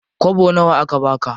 Kwabo nawa aka baka?